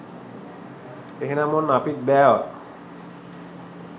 එහෙනම් ඔන්න අපිත් බෑවා